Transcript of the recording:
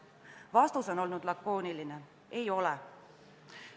Vastus on olnud lakooniline: ei ole tehtud.